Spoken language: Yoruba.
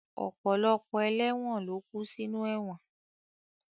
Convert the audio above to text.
Ọ̀pọ̀lọpọ̀ ẹlẹ́won ló kú sinú ẹ̀wọ̀n